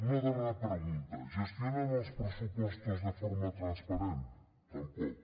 una darrera pregunta gestionen els pressupostos de forma transparent tampoc